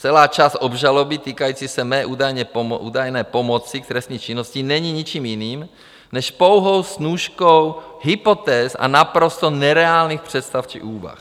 Celá část obžaloby týkající se mé údajné pomoci k trestné činnosti není ničím jiným než pouhou snůškou hypotéz a naprosto nereálných představ či úvah.